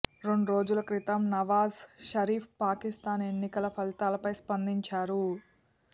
రెండు రోజుల క్రితం నవాజ్ షరీఫ్ పాకిస్థాన్ ఎన్నికల ఫలితాలపై స్పందించారు